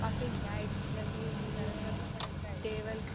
काफी लाइट्स लगी हुई है। टेबल --